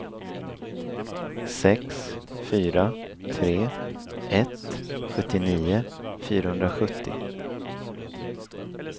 sex fyra tre ett sjuttionio fyrahundrasjuttio